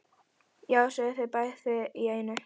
Já, sögðu þau bæði í einu.